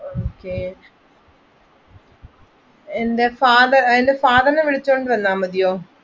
Okay എൻറെ father നെ വിളിച്ചുകൊണ്ട് വന്നാ മതിയോ?